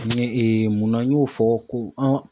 Ni munna n y'o fɔ ko an